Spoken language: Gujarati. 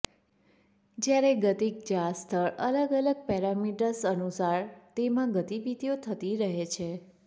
જ્યારે ગતિક જાળસ્થળ અલગ અલગ પૈરામીટર્સ અનુસાર તેમાં ગતિવિધિઓ થતી રહે છે